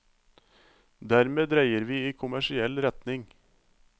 Dermed dreier vi i kommersiell retning.